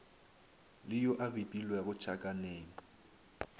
le yo a bipilwego tšhakaneng